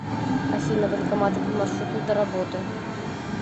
афина банкоматы по маршруту до работы